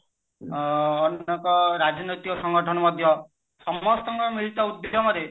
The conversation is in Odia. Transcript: ଅ ଅନେକ ରାଜନୈତିକ ସଂଘଠନ ମଧ୍ୟ ସମସ୍ତଙ୍କ ମିଳିତ ଉଦ୍ୟମରେ